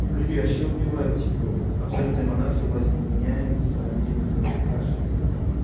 у людей вообще убивает типа абсолютная монархия власть не меняется людей никто не спрашивает